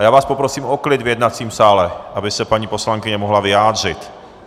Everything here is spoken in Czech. A já vás poprosím o klid v jednacím sále, aby se paní poslankyně mohla vyjádřit.